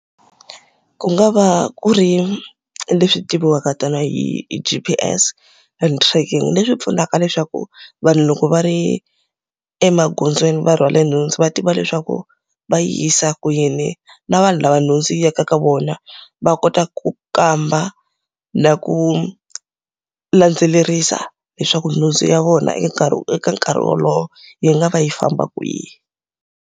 Ku nga va ku ri leswi tiviwaka tanihi hi G_P_S and tracking leswi pfunaka leswaku, vanhu loko va ri emagondzweni va rhwale nhundzu va tiva leswaku va yi yisa kwini. Na vanhu lava nhundzu yi yaka ka vona va kota ku kamba na ku landzelerisa leswaku nhundzu ya vona eka nkarhi eka nkarhi wolowo yi nga va yi famba kwihi.